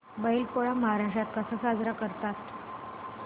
बैल पोळा महाराष्ट्रात कसा साजरा करतात